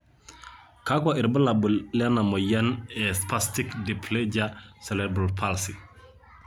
kakua irbulabol lena moyian e spastic diplegia cerebral palsy?